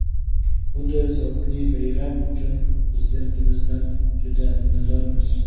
Bunday zavqli bayram uchun Prezidentimizdan juda minnatdormiz.